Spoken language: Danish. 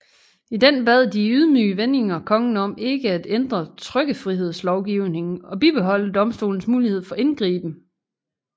I den bad de i ydmyge vendinger kongen om ikke at ændre trykkefrihedslovgivning og bibeholde domstolenes mulighed for indgriben